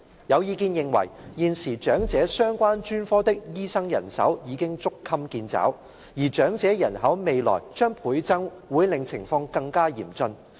有意見認為，現時長者相關專科的醫生人手已捉襟見肘，而長者人口未來將倍增會令情況更加嚴峻。